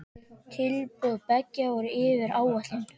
Tilboð beggja voru yfir áætlun.